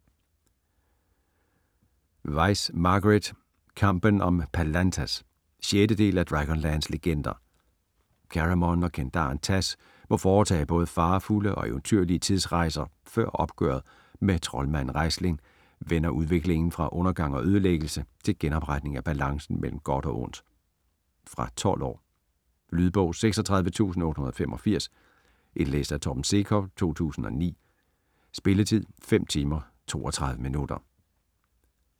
Weis, Margaret: Kampen om Palanthas 6. del af Dragonlance legender. Caramon og kendaren Tass må foretage både farefulde og eventyrlige tidsrejser før opgøret med troldmanden Raistlin vender udviklingen fra undergang og ødelæggelse til genopretning af balancen mellem godt og ondt. Fra 12 år. Lydbog 36885 Indlæst af Torben Sekov, 2009. Spilletid: 5 timer, 32 minutter.